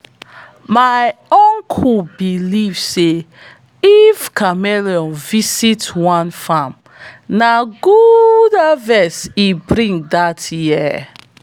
my uncle believe say if chameleon visit one farm na good harvest e bring dat year.